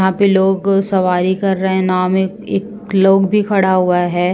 यहाँ पे लोग सबारी कर रहे हैं। नाव में एक लोग भी खड़ा हुआ है।